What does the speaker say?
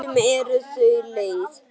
Stundum eru þau leið.